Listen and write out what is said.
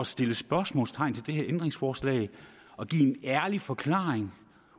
sætte spørgsmålstegn ved det her ændringsforslag at give en ærlig forklaring